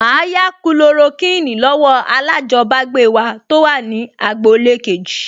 Màá yá Kulorokíìnì lọ́wọ́ alájọbágbé wa tó wà ní agboolé kejì